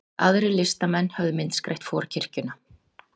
Aðrir listamenn höfðu myndskreytt forkirkjuna